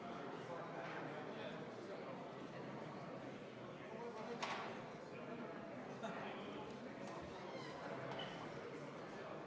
Mõistlik on rõhutada ka seda olulist aspekti, et diplomaatilised suhted riikide vahel ei ole selliste sõjaliste missioonide, julgeolekumissioonide puhul alati väga selgelt mõõdetavad, aga ilmselgelt hinnatakse kõrgete sõjaliste juhtide sõnumite kontekstis meie panust väga kõrgelt.